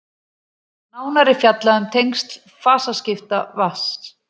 nánar er fjallað um tengsl fasaskipta vatns